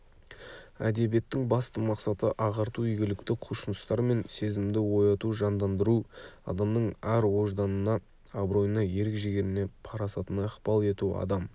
әдебиеттің басты мақсаты ағарту игілікті құлшыныстар мен сезімді ояту жандандыру адамның ар-ожданына абыройына ерік-жігеріне парасатына ықпал ету адам